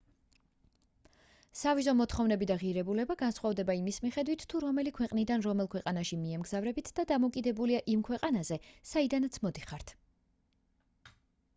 სავიზო მოთხოვნები და ღირებულება განსხვავდება იმის მიხედვით თუ რომელი ქვეყნიდან რომელ ქვეყანაში მიემგზავრებით და დამოკიდებულია იმ ქვეყანაზე საიდანაც მოდიხართ